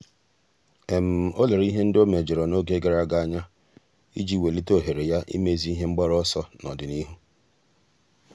ọ́ lérè ihe ndị ọ́ méjọ̀rọ̀ n’ógè gàrà ága anya iji wèlíté ohere ya ímézu ihe mgbaru ọsọ n’ọ́dị̀nihu.